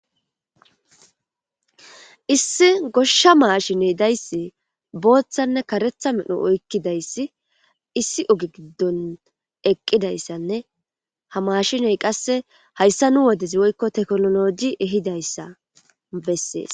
Issi goshsha maashiney dayssi booththanne karetha medno oykkidayssi issi oge giddon eqqidayssanne ha maashiney qasse hayssa nu wodezi woykko tekololoji ehidayssa bessees.